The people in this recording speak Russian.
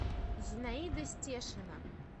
зинаида стешина